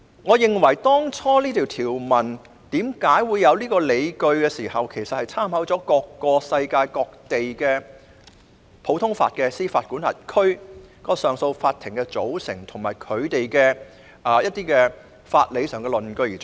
我認為當初訂立這項條文時的理據，是參考了世界各地不同普通法司法管轄區的上訴法庭的組成，以及參考了一些法理上的理據。